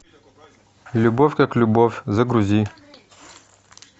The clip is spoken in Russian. любовь как любовь загрузи